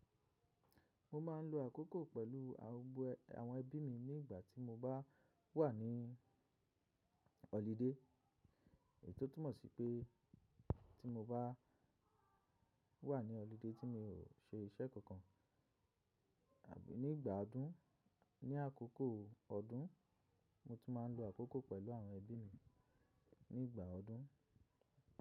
Mo ma ń lo àkókò pẹ̀lú àwọn ẹbí mi ní ìgbà tí mo bá wà ní holiday, tò túmọ̀ sí pé ti mo bá wà ní holiday tí mi ò ṣe iṣẹ́ kankan. Àbí nígbà ọdún, ní akoko ọdún, mo tún ma ń lo àkókò pẹ̀lú àwọn ẹbí mi nígbà ọdún.